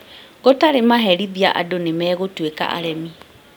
Gũtarĩ maherithia andũ nĩmegũtuĩka aremi